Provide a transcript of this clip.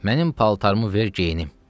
Mənim paltarımı ver geyinim.